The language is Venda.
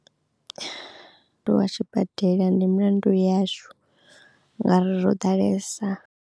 Tshibadela ndi mulandu yashu ngauri ro ḓalesa.